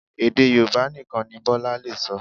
Èdè Yorùbá nìkan ni Bọ́lá lè sọ